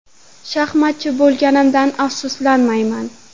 Shaxmatchi bo‘lganimdan afsuslanmayman.